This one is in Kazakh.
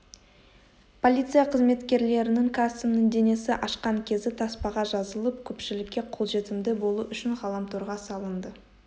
полиция қызметкерлерінің карсонның денесін ашқан кезі таспаға жазылып көпшілікке қолжетімді болу үшін ғаламторға салынды